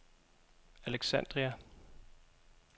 Alexandria